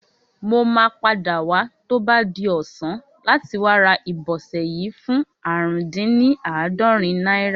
Mo máa padà wá tó bá di ọ̀sán láti wá ra ìbọsẹ̀ yìí fún ààrùndínní àádọ́rin náírà